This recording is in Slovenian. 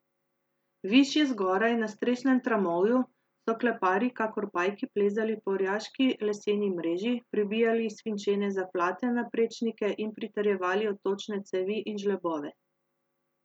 Višje zgoraj, na strešnem tramovju, so kleparji kakor pajki plezali po orjaški leseni mreži, pribijali svinčene zaplate na prečnike in pritrjevali odtočne cevi in žlebove.